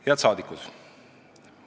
Head rahvasaadikud!